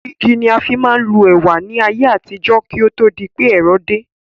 Igi ni a máa ń fi ń lu ẹ̀wà ní ayé àtijọ́, kí ó tó di wí pé ẹ̀rọ dé